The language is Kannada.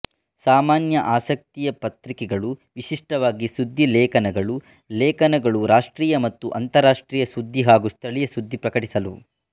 ಸಾಮಾನ್ಯಆಸಕ್ತಿಯ ಪತ್ರಿಕೆಗಳು ವಿಶಿಷ್ಟವಾಗಿ ಸುದ್ದಿ ಲೇಖನಗಳು ಲೇಖನಗಳು ರಾಷ್ಟ್ರೀಯ ಮತ್ತು ಅಂತಾರಾಷ್ಟ್ರೀಯ ಸುದ್ದಿ ಹಾಗೂ ಸ್ಥಳೀಯ ಸುದ್ದಿ ಪ್ರಕಟಿಸಲು